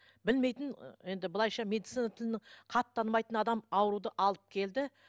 білмейтін енді былайша медицина тілін хат танымайтын адам ауруды алып келді